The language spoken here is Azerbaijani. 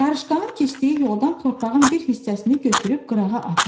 Qarışqanın keçdiyi yoldan torpağın bir hissəsini götürüb qırağa atın.